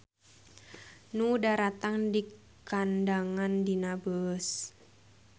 Nu daratang dikandangan dina beus.